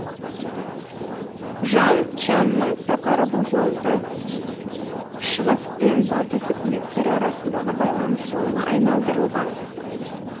жаң чянның сапары бұл жолды шығыс пен батыс үкіметтері арасындағы байланыс жолына айналдырылған